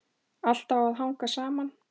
Allt á að hanga saman.